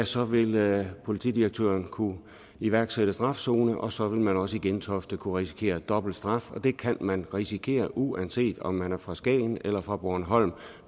så vil politidirektøren kunne iværksætte en strafzone og så vil man også i gentofte kunne risikere dobbelt straf og det kan man risikere uanset om man er fra skagen eller fra bornholm